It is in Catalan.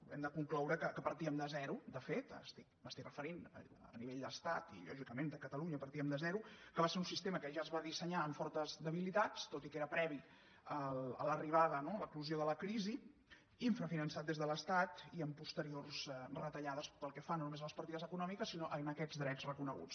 hem de concloure que partíem de zero de fet em refereixo a nivell d’estat i lògicament de catalunya partíem de zero que va ser un sistema que ja es va dissenyar amb fortes debilitats tot i que era previ a l’arribada no a l’eclosió de la crisi infrafinançat des de l’estat i amb posteriors retallades pel que fa no només a les partides econòmiques sinó a aquests drets reconeguts